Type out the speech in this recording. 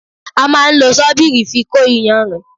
A máa ń lo sọ́bírí fi kó ìyànrìn.